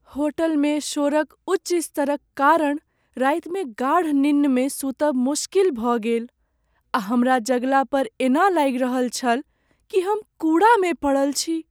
होटलमे शोरक उच्च स्तरक कारण रातिमे गाढ़ निन्नमे सुतब मोश्किल भऽ गेल आ हमरा जगला पर एना लागि रहल छल कि हम कूड़ामे पड़ल छी।